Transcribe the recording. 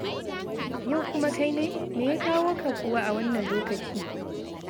Yau kuma kai ne? Me ya kawo ka kuwa a wannan lokaci?